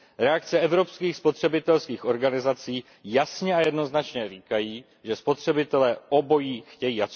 Reakce evropských spotřebitelských organizací jasně a jednoznačně říkají, že spotřebitelé obojí chtějí.